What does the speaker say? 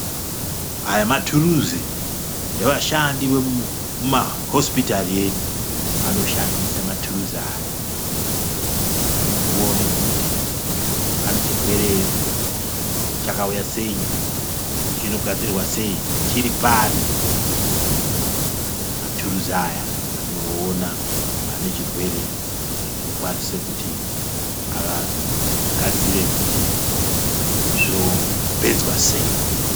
Aya mathuruzi evashandi vemuma hosipitari edu. Vanoshandisa mathuruzi aya , voone kuti pane chirwere ere, chakauya sei, chinogadzirwa sei, chiri pari. Mathuruzi aya anoona pane chirwere nekukwanisa kuti aagadzire kuti zvopedzwa sei.